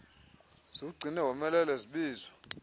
ziwugcine womelele zibizwa